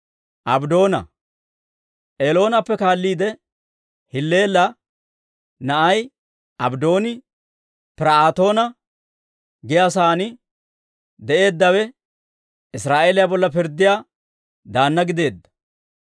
Eloonappe kaalliide, Hilleela na'ay Abddooni, Pir"aatoona giyaa saan de'eeddawe, Israa'eeliyaa bolla pirddiyaa daanna gideedda.